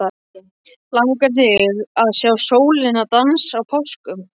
Langar þig að sjá sólina dansa á páskum?